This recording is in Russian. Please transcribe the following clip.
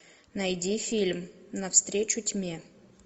найди фильм навстречу тьме